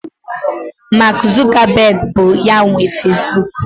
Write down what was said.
Mark Zuckerberg bụ ya nwe Facebook.